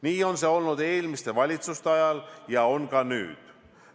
Nii oli see eelmiste valitsuste ajal ja on ka nüüd.